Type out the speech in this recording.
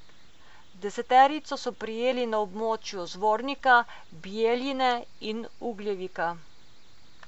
Deseterico so prijeli na območju Zvornika, Bijeljine in Ugljevika.